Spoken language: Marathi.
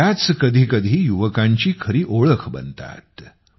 आणि त्याच कधीकधी युवकांची खरी ओळख बनतात